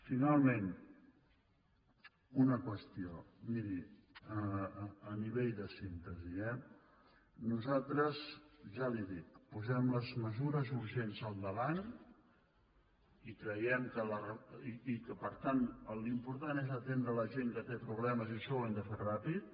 finalment una qüestió miri a nivell de síntesi eh nosaltres ja li ho dic posem les mesures urgents al davant i que per tant l’important és atendre la gent que té problemes i això ho hem de fer ràpid